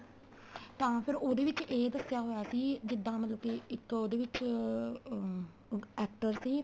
ਤਾਂ ਫੇਰ ਉਹਦੇ ਵਿੱਚ ਇਹ ਦੱਸਿਆ ਹੋਇਆ ਸੀ ਜਿੱਦਾਂ ਮਤਲਬ ਕੀ ਇੱਕ ਉਹਦੇ ਵਿੱਚ ਅਹ actor ਸੀ